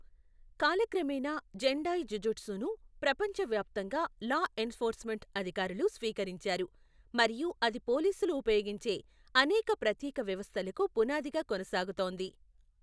కాలక్రమేణా, జెండాయ్ జుజుట్సును ప్రపంచవ్యాప్తంగా లా ఎన్ఫోర్స్మెంట్ అధికారులు స్వీకరించారు మరియు అది పోలీసులు ఉపయోగించే అనేక ప్రత్యేక వ్యవస్థలకు పునాదిగా కొనసాగుతోంది.